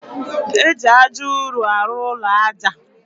Eji aja ụrụ arụ ụlọ aja.